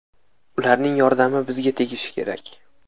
Ularning yordami bizga tegishi kerak.